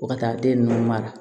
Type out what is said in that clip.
Fo ka taa den ninnu mara